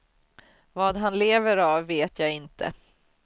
Vad han lever av vet jag inte.